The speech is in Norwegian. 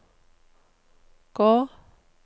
gå